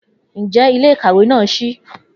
Njẹ ile-ikawe naa ṣii?